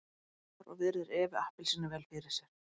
Stoppar og virðir Evu appelsínu vel fyrir sér.